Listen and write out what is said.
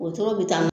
Woro bɛ taa